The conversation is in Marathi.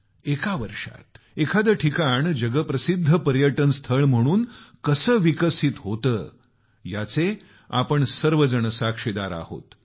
एका वर्षात एखादे ठिकाण जगप्रसिद्ध पर्यटन स्थळ म्हणून कसं विकसित होतं याचे आम्ही सर्व साक्षीदार आहोत